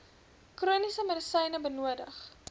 chroniese medisyne benodig